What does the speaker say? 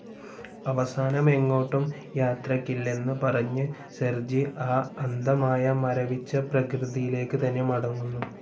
അവസാനം എങ്ങോട്ടും യാത്രക്കില്ലെന്ന് പറഞ്ഞ് സെർജി ആ അന്തമായ മരവിച്ച പ്രകൃതിയിലേക്ക് തന്നെ മടങ്ങുന്നു.